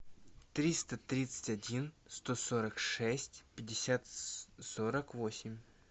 триста тридцать один сто сорок шесть пятьдесят сорок восемь